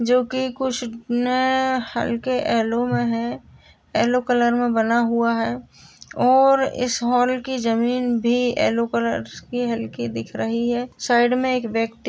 जो कि कुछ न हल्के एलो में हैं। एलो कलर में बना हुआ है और इस हॉल की जमीन भी एलो कलर्स की हल्की दिख रही है। साइड मे एक व्यक्ति --